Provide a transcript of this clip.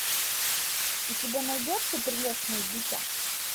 у тебя найдется прелестное дитя